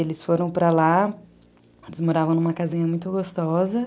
Eles foram para lá, eles moravam numa casinha muito gostosa.